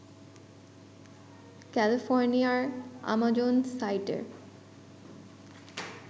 ক্যালিফোর্নিয়ার আমাজন সাইটের